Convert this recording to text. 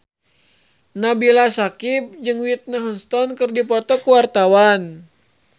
Nabila Syakieb jeung Whitney Houston keur dipoto ku wartawan